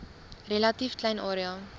relatief klein area